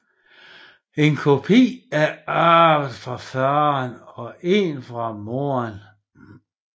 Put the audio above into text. En kopi er arvet fra faren og en fra moren